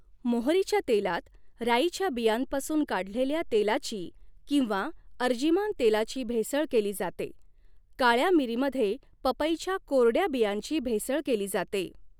मोहरीच्या तेलात राईच्या बियांपासून काढलेले तेलाची किंवा अर्जिमान तेलाची भेसळ केली जाते काळया मिरीमध्ये पपईच्या कोरडया बियांची भेसळ केली जाते.